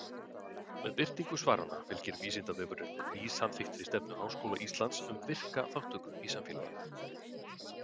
Með birtingu svaranna fylgir Vísindavefurinn nýsamþykktri stefnu Háskóla Íslands um virka þátttöku í samfélaginu.